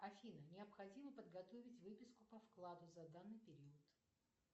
афина необходимо подготовить выписку по вкладу за данный период